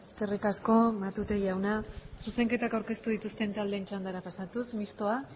eskerrik asko matute jauna zuzenketak aurkeztu dituzten taldeen txandara pasatuz mistoa